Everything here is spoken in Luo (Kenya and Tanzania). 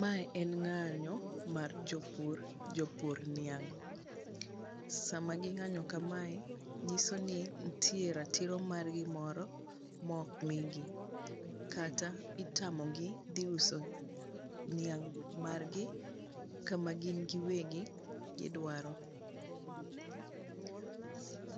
mae en ng'anyo mar jopur ,jopur niang' sama gi ng'anyo kamae nyiso ni nitie ratiro mar gi moro mok migi kata itamo gi dhi uso niang' kama gin gi wegi gidwaro,